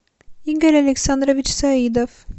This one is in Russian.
игорь александрович саидов